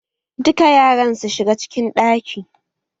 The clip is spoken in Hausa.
Duka yaran su shiga cikin ɗaki!